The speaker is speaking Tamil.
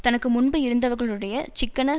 தனக்கு முன்பு இருந்தவர்களுடைய சிக்கன